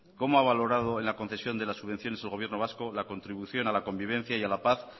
cómo ha valorado en la concesión de las subvenciones el gobierno vasco la contribución a la convivencia y a la paz